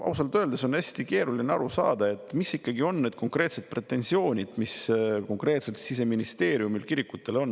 Ausalt öeldes on hästi keeruline aru saada, mis ikkagi on need konkreetsed pretensioonid, mis Siseministeeriumil kirikutele on.